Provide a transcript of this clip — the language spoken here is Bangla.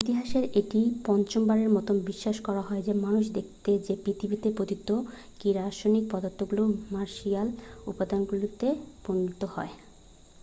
ইতিহাসে এটি পঞ্চমবারের মতো বিশ্বাস করা হয় যে মানুষ দেখেছে যে পৃথিবীতে পতিত কি রাসায়নিক পদার্থগুলি মার্শিয়ান উপাদানগুলিতে পরিণত হয়